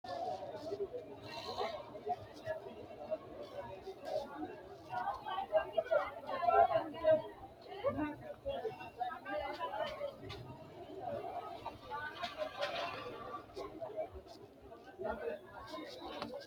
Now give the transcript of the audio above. konne darga sidaamu manni woy sidaamunnihu jajjabbu geeri mittimmatenni fulte qeexaalu amanyoote assi'tanni nooha ikkanna, insano waajjo gaawubba uddidhe anga siqqo amaxxite nooreeti.